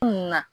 Kunna